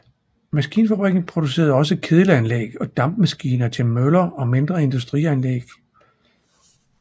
Maskinfabrikken producerede også kedelanlæg og dampmaskiner til møller og mindre industrianlæg